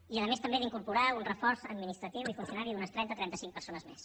i a més també d’incorporar un reforç administratiu i funcionaris d’unes trenta trenta cinc persones més